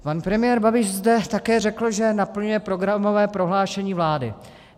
Pan premiér Babiš zde také řekl, že naplňuje programové prohlášení vlády.